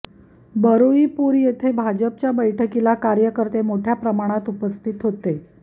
बरुईपूर येथे भाजपच्या बैठकील कार्यकर्त्ये मोठ्या प्रमाणात उपस्थित होते